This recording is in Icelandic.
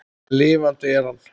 En lifandi er hann.